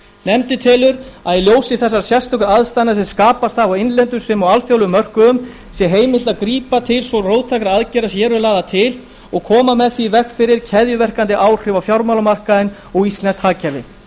nefndin telur að í ljósi þessara sérstöku aðstæðna sem skapast hafa á innlendum sem og alþjóðlegum mörkuðum sé heimilt að grípa til svo róttækra aðgerða sem hér eru lagðar til og koma með því í veg fyrir keðjuverkandi áhrif á fjármálamarkaðinn og íslenskt hagkerfi